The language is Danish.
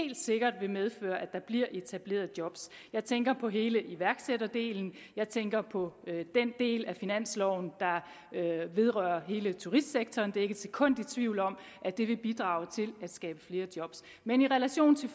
helt sikkert vil medføre at der bliver etableret job jeg tænker på hele iværksætterdelen jeg tænker på den del af finansloven der vedrører hele turistsektoren og jeg er ikke et sekund i tvivl om at det vil bidrage til at skabe flere job men i relation til